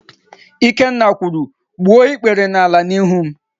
Ikenna kwuru, "gbuo ikpere n'ala n'ihu m"!